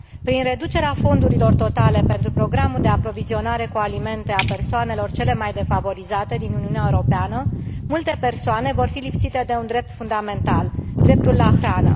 Prin reducerea fondurilor totale pentru programul de aprovizionare cu alimente a persoanelor celor mai defavorizate din Uniunea Europeană, multe persoane vor fi lipsite de un drept fundamental, dreptul la hrană.